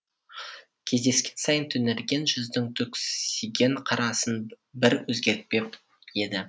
кездескен сайын түнерген жүздің түксиген қарасын бір өзгертпеп еді